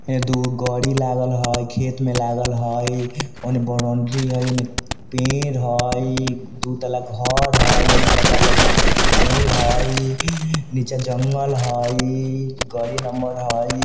ए दूगो गाड़ी लागल हई खेत मे लागल हई औने बाउंड्री हई औने पेड़ हई दू तल्ला घर हई ऊना पेड़ हई नीचा जंगल हई गाड़ी नंबर हई।